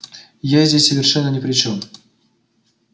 я здесь совершенно ни при чём